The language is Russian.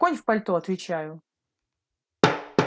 конь в пальто отвечаю